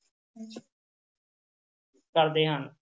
ਕਰਦੇ ਹਨ